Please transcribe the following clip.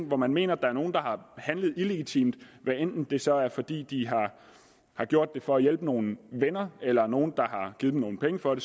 hvor man mener at der er nogen der har handlet illegitimt hvad enten det så er fordi de har gjort det for at hjælpe nogle venner eller er nogen der har givet dem nogle penge for det